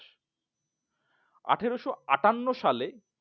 আঠেরশো আটান্ন সালে